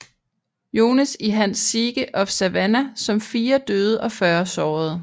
Jones i hans Siege of Savannah som 4 døde og 40 sårede